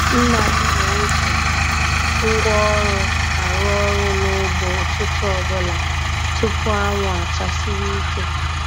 Nna m na-eji ngwaọrụ arụ ọrụ n'ugbo ụtụtụ ọbụla tupu anwụ achasiwe ike.